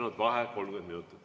V a h e a e g